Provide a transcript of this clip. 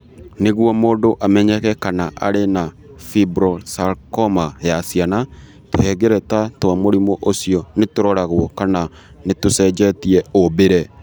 Nĩguo mũndũ amenyeke kana arĩ na fibrosarcoma ya ciana , tũhengereta twa mũrimũ ũcio nĩ tũroragũo kana nĩ tũcenjetie ũmbĩre.